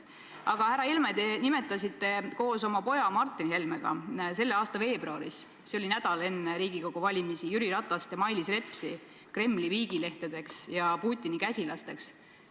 Aga, härra Helme, te nimetasite koos oma poja Martin Helmega selle aasta veebruaris – see oli nädal enne Riigikogu valimisi – Jüri Ratast ja Mailis Repsi Kremli viigilehtedeks ja Putini käsilasteks.